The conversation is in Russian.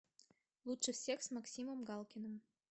лучше всех с максимом галкиным